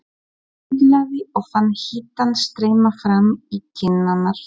Mig sundlaði og fann hitann streyma fram í kinnarnar.